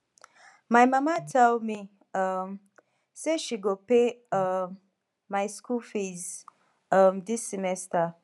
my mama tell me um say she go pay um my school fees um dis semester